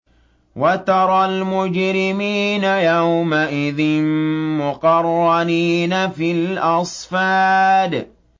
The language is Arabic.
وَتَرَى الْمُجْرِمِينَ يَوْمَئِذٍ مُّقَرَّنِينَ فِي الْأَصْفَادِ